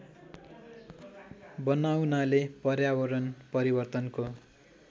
बनाउनाले पर्यावरण परिवर्तनको